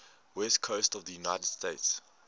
west coast of the united states